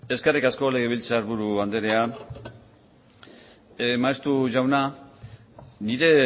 eskerrik asko legebiltzarburu andrea maeztu jauna nire